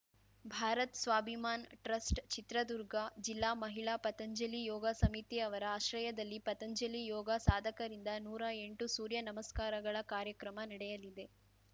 Bharat Swabhiman trust Chitradurga ಜಿಲ್ಲಾ ಮಹಿಳಾ ಪತಂಜಲಿ ಯೋಗ ಸಮಿತಿ ಅವರ ಆಶ್ರಯದಲ್ಲಿ ಪತಂಜಲಿ ಯೋಗ ಸಾಧಕರಿಂದ ನೂರಾ ಎಂಟು ಸೂರ್ಯ ನಮಸ್ಕಾರಗಳ ಕಾರ್ಯಕ್ರಮ ನಡೆಯಲಿದೆ